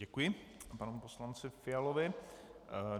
Děkuji panu poslanci Fialovi.